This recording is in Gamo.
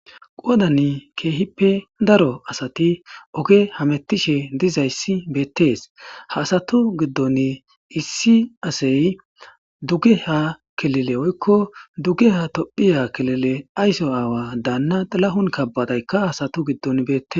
Quwadan keehippe daro asati oge hamettishe dizayssi beettees haasatu giddon issi asey dugge ha kelele oykko dugge ha tophiya kelile aysso aawa daanna lahun kabbadaykka hasatu giddon beette